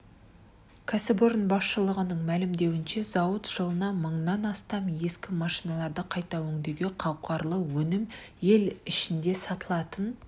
кәсіпорын басшылығының мәлімдеуінше зауыт жылына мыңнан астам ескі машиналарды қайта өңдеуге қауқарлы өнім ел ішінде сатылатын